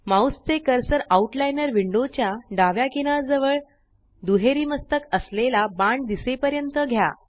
mouse चे cursor outliner window च्या डाव्या किनार जवळ दुहेरी मस्तक असलेला बाण दिसेपर्यंत घ्या